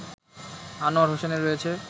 আনোয়ার হোসেনের রয়েছে